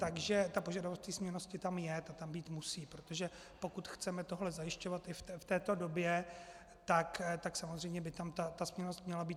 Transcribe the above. Takže ta požadovanost té směnnosti tam je, ta tam být musí, protože pokud chceme tohle zajišťovat i v této době, tak samozřejmě by tam ta směnnost měla být.